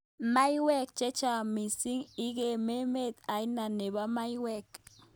Maiwek chechang mising ik emet ainet nenbo maiwek.